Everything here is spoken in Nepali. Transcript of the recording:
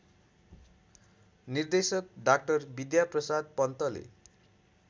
निर्देशक डा बिद्याप्रसाद पन्तले